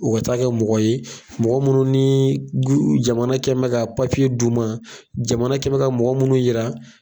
U ka taa kɛ mɔgɔ ye mɔgɔ munnu ni jamana kɛ mɛ ka d'u ma jamana kɛ mɛ ka mɔgɔ minnu yira